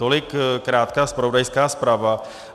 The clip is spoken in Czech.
Tolik krátká zpravodajská zpráva.